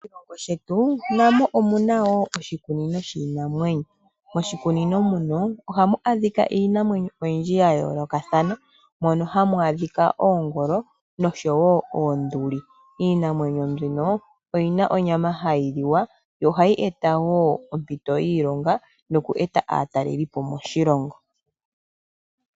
Moshilongo shetu namo omu na wo oshikunino shiinamwenyo. Moshikunino muka ohamu adhika iinamwenyo oyindji ya yoolokathana. Mono hamu adhika oongolo noshowo oonduli. Iinamwenyo mbika oyi na onyama hayi liwa yo ohayi eta wo ompito yiilonga noku eta aatalelipo moshilongo.